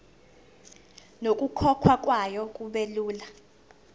nokukhokhwa kwayo kubelula